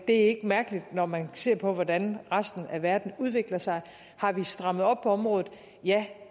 det er ikke mærkeligt når man ser på hvordan resten af verden udvikler sig har vi strammet op på området ja